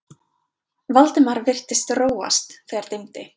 Valdimar virtist róast, þegar dimmdi.